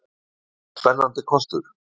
Var það spennandi kostur?